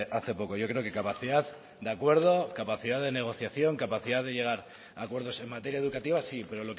hace poco yo creo que capacidad de acuerdo capacidad de negociación capacidad de llegar a acuerdos en materia educativa sí pero